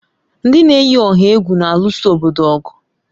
Ndị na-eyi ọha egwu na-alụso obodo ọgụ.